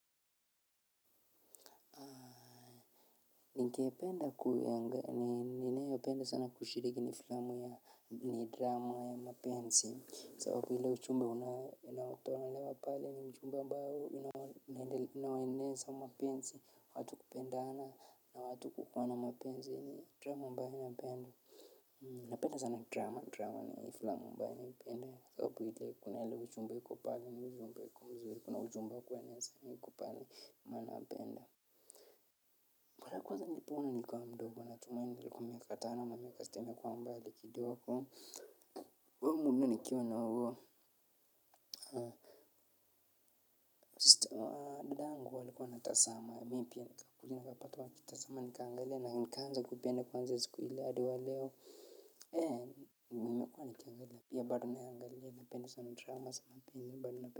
Ningependa kuyanga ninayo penda sana kushiriki ni filamu ya ni drama ya mapenzi. Sababu ile ujumbe unayotolewa pale ni ujumbe ambao inaeneza mapenzi, watu kupendana na watu kupana mapenzi ni drama ambayo napenda. Napenda sana drama drama ni filamu ambae ninapenda sababu ile kuna ile ujumbe iko pale ni ujumbe yuko mzuri kuna ujumba wa kueneza yuko pale nanapenda. Mara ya kwanza nilipoona nikiwa mdogo natumai nilikuwa miaka tano mameka siteme alikua mbali kiodogo we hu muona nikiwa na huo. Dadangu alikua anatazama mi pia nikakuja napata wakitazama nikaangalia na nikaanza kuipenda kutoka siku hiyo hadi waleo ee nime kuwa nikangalia na pia bado naangalia na penda sana dramas ama pia nyumbani napende.